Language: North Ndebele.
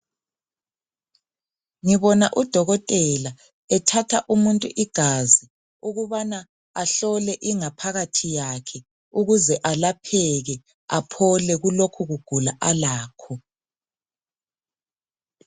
ngibona udokotela ethatha umuntu igazi ukubana ahlole ingaphakathi yakhe ukuze alapheke aphole kulokhu kugula alakho